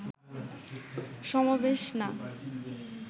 সমাবেশ না